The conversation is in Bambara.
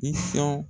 I sɔ